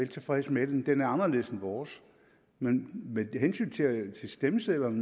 tilfredse med den den er anderledes end vores men med hensyn til stemmesedlerne